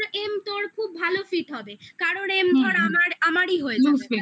আর ওর m তোর খুব ভালো fit হবে কারণ m fit আমারই হয়েছে